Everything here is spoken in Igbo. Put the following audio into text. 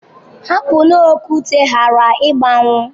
Hapụnụ okwute ghara ịgbanwuo.